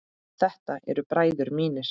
Þetta eru bræður mínir.